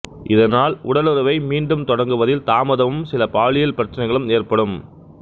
இதனால் உடலுறவை மீண்டும் தொடங்குவதில் தாமதமும் சில பாலியல் பிரச்சினைகளும் ஏற்படும்